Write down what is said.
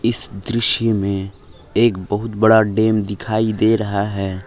इस दृश्य में एक बहुत बड़ा डैम दिखाई दे रहा है।